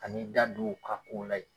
Ka n'i da don u ka kow la yen.